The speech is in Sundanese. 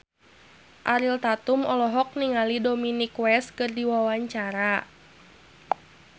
Ariel Tatum olohok ningali Dominic West keur diwawancara